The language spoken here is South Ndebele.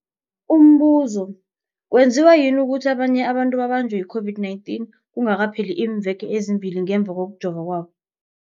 Umbuzo, kwenziwa yini ukuthi abanye abantu babanjwe yi-COVID-19 kungakapheli iimveke ezimbili ngemva kokujova kwabo?